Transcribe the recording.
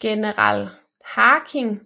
General Haking